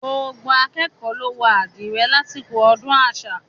Gbogbo akékọ̀ọ́ ló wọ àdìrẹ lásìkò ọdún àṣà.